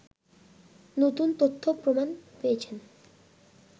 নতুন তথ্য প্রমাণ পেয়েছেন